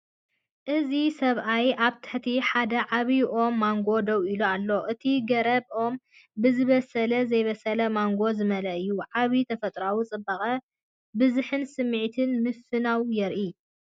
እዚ ሰብኣይ ኣብ ትሕቲ ሓደ ዓቢይ ኦም ማንጎ ደው ኢሉ ኣሎ። እቲ ገረብ/ ኦም ብዝበሰለን ዘይበሰለን ማንጎ ዝመልአ እዩ፤ ዓቢይ ተፈጥሮኣዊ ጽባቐን ብዝሕን ስምዒት ምፍናው የርኤና!